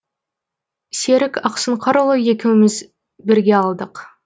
серік ақсұңқарыұлы екеуміз бірге алдық